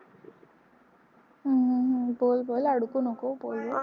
हम्म बोल बोल अडकू नको बोल.